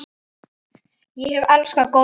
Ég hef elskað golf síðan.